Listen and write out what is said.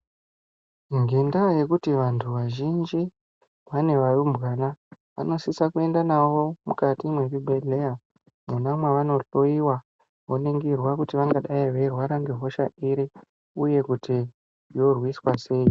Ngenda yekuti vantu vazhinji vane varumbwana vano sisa kuenda navo mukati me zvibhedhleya mwona mavano dhloyiwa oningirwa kuti vanga dai vei rwara nge hosha iri uye kuti yo rwiswa sei.